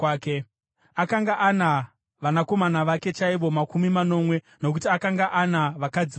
Akanga ana vanakomana vake chaivo makumi manomwe, nokuti akanga ana vakadzi vazhinji.